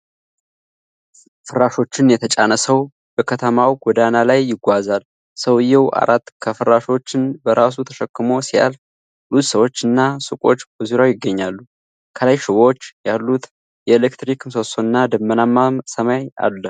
ፍራሾችን የተጫነ ሰው በከተማው ጎዳና ላይ ይጓዛል። ሰውዬው አራት ከፍራሾችን በራሱ ተሸክሞ ሲያልፍ፣ ብዙ ሰዎች እና ሱቆች በዙሪያው ይገኛሉ። ከላይ ሽቦዎች ያሉት የኤሌክትሪክ ምሰሶና ደመናማ ሰማይ አለ።